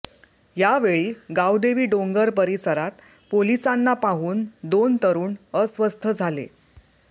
यावेळी गावदेवी डोंगर परिसरात पोलिसांना पाहून दोन तरुण अस्वस्थ झाले